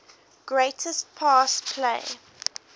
greatest pass play